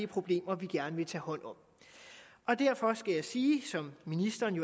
problemer vi gerne vil tage hånd om derfor skal jeg sige som ministeren